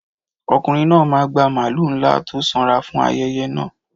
Ọkùnrin náà máa gba màlúù ńlá tó sanra fún ayẹyẹ náà.